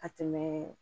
Ka tɛmɛ